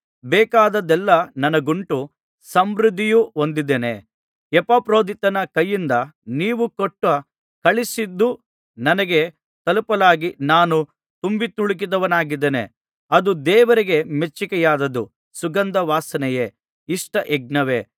ಬೇಕಾದದ್ದೆಲ್ಲಾ ನನಗುಂಟು ಸಮೃದ್ಧಿಹೊಂದಿದ್ದೇನೆ ಎಪಫ್ರೊದೀತನ ಕೈಯಿಂದ ನೀವು ಕೊಟ್ಟು ಕಳುಹಿಸಿದ್ದು ನನಗೆ ತಲುಪಲಾಗಿ ನಾನು ತುಂಬಿತುಳುಕಿದವನಾಗಿದ್ದೇನೆ ಅದು ದೇವರಿಗೆ ಮೆಚ್ಚಿಕೆಯಾದದ್ದು ಸುಗಂಧವಾಸನೆಯೇ ಇಷ್ಟ ಯಜ್ಞವೇ